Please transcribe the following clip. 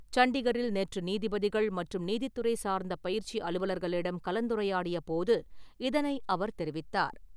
சண்டிகரில் நேற்று நீதிபதிகள் மற்றும் நீதித்துறை சார்ந்த பயிற்சி அலுவலர்களிடம் கலந்துரையாடிய போது இதனை அவர் தெரிவித்தார்.